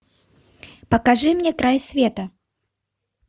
покажи мне край света